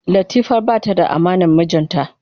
Latifa bata da amanar mijinta ba.